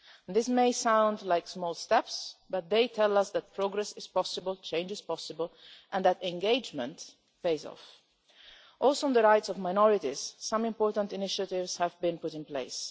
These may sound like small steps, but they tell us that progress is possible, change is possible and that engagement pays off. Also on the rights of minorities, some important initiatives have been put in place.